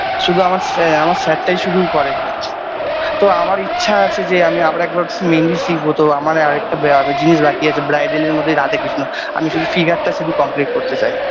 শুধু আমার স্যা আমার sir -টাই শুধু করে তো আমার ইচ্ছা আছে যে আমি আবার একবার মেহেন্দি শিখবো তো আমার আর একটা ব্য জিনিস বাকি আছে bridal -এর মধ্যে রাধাকৃষ্ণ আমি শুধু figure -টা শুধু complete করতে চাই।